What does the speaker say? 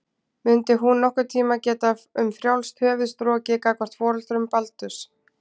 Mundi hún nokkurn tíma geta um frjálst höfuð strokið gagnvart foreldrum Baldurs?